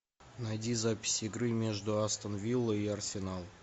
найди запись игры между астон виллой и арсенал